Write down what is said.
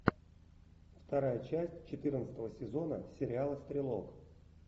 вторая часть четырнадцатого сезона сериала стрелок